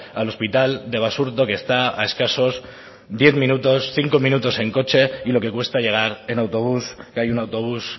al hospital de basurto que está a escasos diez minutos cinco minutos en coche y lo que cuesta llegar en autobús que hay un autobús